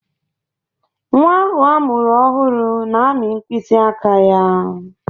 Nnwa ahụ amụrụ ọhụrụ na-amị mkpịsị aka ya.